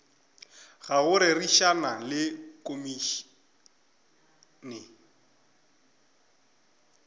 ga go rerišana le komišene